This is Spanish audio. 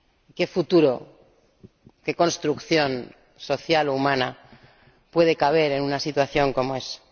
¿Qué futuro, qué construcción social o humana puede caber en una situación como esa?